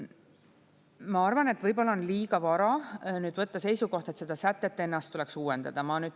Ma arvan, et võib-olla on liiga vara võtta seisukoht, et seda sätet ennast tuleks uuendada.